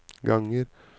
ganger